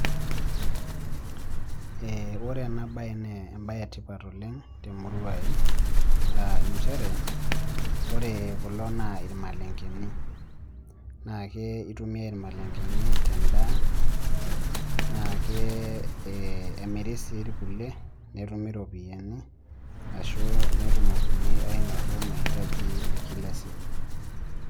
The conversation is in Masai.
Ore ena baye naa embaye etipat oleng' temurua aai aa nchere ore kulo naa irmalengeni naa ke itumiyai irmalengeni tendaa naa ke emiri sii irkulie netumi iropiyiani ashu netumokini ainoto mahitaji e kila siku.